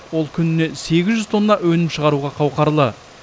ол күніне сегіз жүз тонна өнім шығаруға қауқарлы